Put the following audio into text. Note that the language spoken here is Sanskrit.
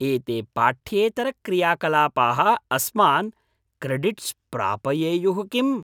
एते पाठ्येतरक्रियाकलापाः अस्मान् क्रेडिट्स् प्रापयेयुः किम्?